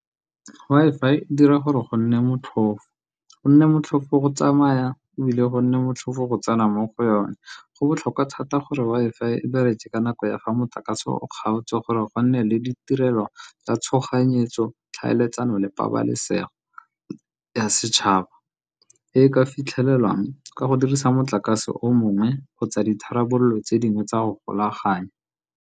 Wi-Fi e dira gore go nne motlhofo, go nne motlhofo go tsamaya ebile go nne motlhofo go tsena mo go yone. Go botlhokwa thata gore Wi-Fi e bereke ka nako ya fa motlakase o kgaotswe, gore go nne le didirelwa tsa tshoganyetso, tlhaeletsano le pabalesego ya setšhaba e e ka fitlhelelwang ka go dirisa motlakase o mongwe kgotsa ditharabololo tse dingwe tsa go golaganya.